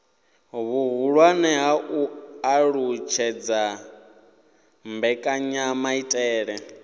vhuhulwane ha u alutshedza mbekanyamaitele